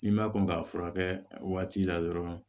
I ma kɔn k'a furakɛ waati la dɔrɔn